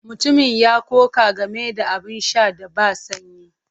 Mutumin ya ƙoƙa game da abin sha da ba sanyi.